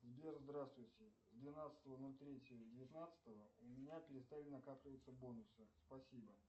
сбер здравствуйте двенадцатого ноль третьего девятнадцатого у меня перестали накапливаться бонусы спасибо